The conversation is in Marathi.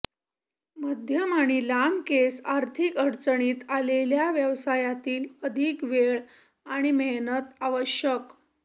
मध्यम आणि लांब केस आर्थिक अडचणीत आलेल्या व्यवसायातील अधिक वेळ आणि मेहनत आवश्यक